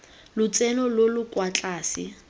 lotseno lo lo kwa tlase